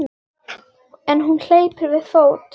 En hún hleypur við fót.